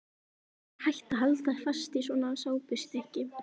Hvernig var hægt að halda fast í svona sápustykki!